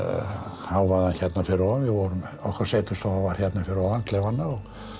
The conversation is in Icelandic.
hávaðann hérna fyrir ofan okkar setustofa var hérna fyrir ofan klefana og